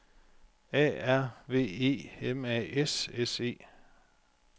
A R V E M A S S E